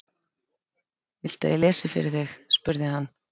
Viltu að ég lesi fyrir þig? spurði hann.